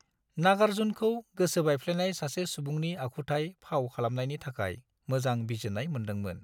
नागार्जुनखौ गोसो बायफ्लेनाय सासे सुबुंनि आखुथाय फाव खालामनायनि थाखाय मोजां बिजिरनाय मोन्दोंमोन।